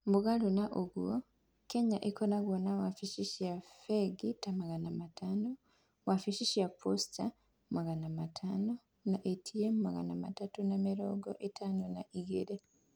Mũgarũ na ũguo, Kenya ĩkoragwo na wabici cia bengi ta magana matano, wabici cia posta magana matano, na ATM magana matatũ na mĩrongo ĩtano na igĩrĩ.